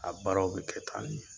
A baaraw bɛ kɛ tan ne.